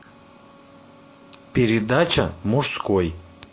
передача мужской